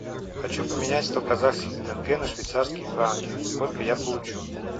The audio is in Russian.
хочу поменять сто казахских тенге на швейцарские франки сколько я получу